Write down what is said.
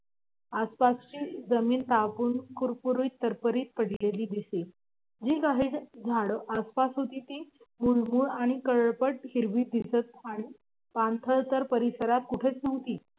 आसपासची जमीन तापून कुरकुरीत तरतरीत पडलेली दिसे. जी काही झाड आसपास होती ती मलूल आणि काळपट हिरवी दिसत आणि पाणथळ तर परिसरात कुठंच नव्हती